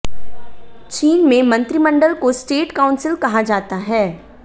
चीन में मंत्रिमंडल को स्टेट काउंसिल कहा जाता है